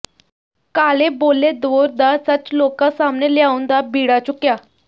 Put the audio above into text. ਕਾਲੇ ਬੋਲੇ ਦੌਰ ਦਾ ਸੱਚ ਲੋਕਾਂ ਸਾਹਮਣੇ ਲਿਆਉਣ ਦਾ ਬੀੜਾ ਚੁੱਕਿਆ